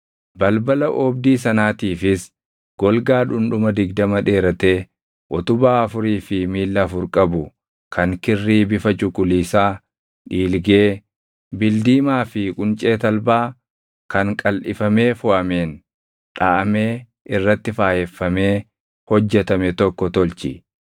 “Balbala oobdii sanaatiifis golgaa dhundhuma digdama dheeratee utubaa afurii fi miilla afur qabu kan kirrii bifa cuquliisaa, dhiilgee, bildiimaa fi quncee talbaa kan qalʼifamee foʼameen dhaʼamee irratti faayeffamee hojjetame tokko tolchi.